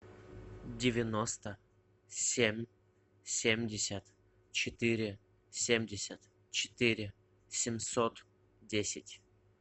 девяносто семь семьдесят четыре семьдесят четыре семьсот десять